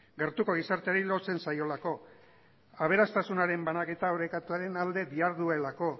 gertuko gizarteari lotzen zaiolako aberastasunaren banaketa orekatuaren alde diharduelako